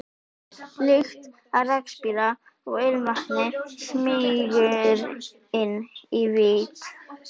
Lykt af rakspíra og ilmvatni smýgur inn í vit